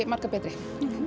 margar betri